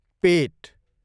पेट